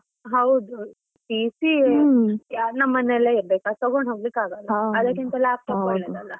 ಹೌದು, PC ನಮ್ಮ ಮನೇಲಿ ಇರ್ಬೇಕು ಅದು ತಗೊಂಡು ಹೋಗ್ಲಿಕ್ಕೆ ಆಗಲ್ಲ laptop .